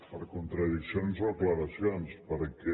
per contradiccions o aclariments perquè